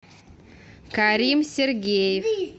карим сергеев